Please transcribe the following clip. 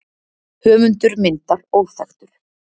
Höfundur myndar óþekktur.